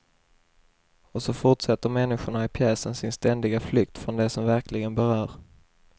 Och så fortsätter människorna i pjäsen sin ständiga flykt från det som verkligen berör.